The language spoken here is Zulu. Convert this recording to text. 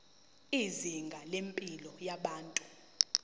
izinga lempilo yabantu